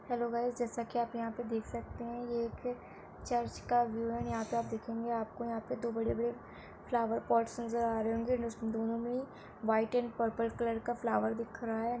Hello guys जैसा आप यहाँ पे देख सकते हैं ये एक चर्च का व्यू है यहां पे आप देखेंगे आप को यहां पे दो बड़े-बड़े फ्लावर पॉट्स नज़र आ रहे होंगे दोनों मे ही वाइट एंड पर्पल कलर का फ्लावर दिख रहा है।